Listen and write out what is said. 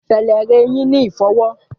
Fẹlẹ rẹ eyin ni ifọwọ.